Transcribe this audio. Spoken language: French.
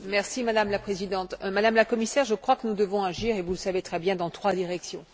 Madame la Présidente, Madame la Commissaire, je crois que nous devons agir vous le savez très bien dans trois directions.